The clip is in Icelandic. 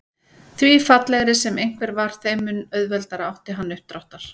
Því fallegri sem einhver var þeim mun auðveldara átti hann uppdráttar.